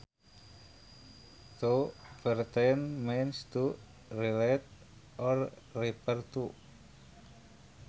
To pertain means to relate or refer to